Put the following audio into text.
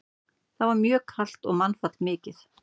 Þar var mjög kalt og mannfall mikið.